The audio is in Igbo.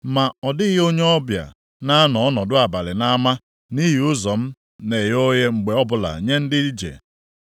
Ma ọ dịghị onye ọbịa na-anọ ọnọdụ abalị nʼama, nʼihi ụzọ m na-eghe oghe mgbe ọbụla nye ndị ije.